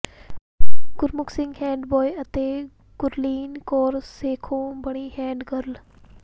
ਗੁਰਮੁਖ Singh head boy ਅਤੇ ਗੁਰਲੀਨ ਕੌਰ ਸੇਖੋਂ ਬਣੀ head girl